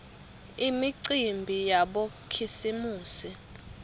imicimbi yabokhisimusi